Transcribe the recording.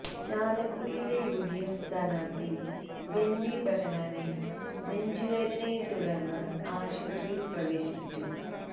ചാലക്കുടിയിലെ യുഡിഎഫ് സ്ഥാനാര്ത്ഥി ബെന്നി ബെഹന്നാനെ നെഞ്ചുവേദനയെ തുടർന്ന് ആശുപത്രിയില് പ്രവേശിപ്പിച്ചു